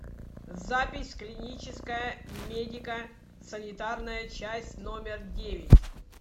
запись клиническая медико санитарная часть номер девять